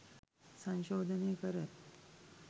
සංශෝධනය කර